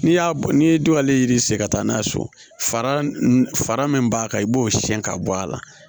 N'i y'a bɔ ni duwalen yirisi ka taa n'a ye so fara min b'a kan i b'o siɲɛ ka bɔ a la